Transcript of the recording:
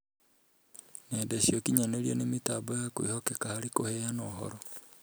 nenda cia ũkinyanĩria nĩ mĩtambo ya kwĩhokeka harĩ kũheana ũhoro